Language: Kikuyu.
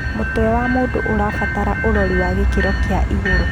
Mũtwe wa mũndũ ũrabatara ũrori wa gĩkĩro kĩa iguru